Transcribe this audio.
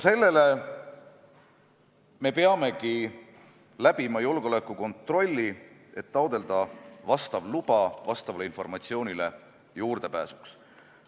Seetõttu me peamegi läbima julgeolekukontrolli, et taotleda vastav luba vastavale informatsioonile juurdepääsuks.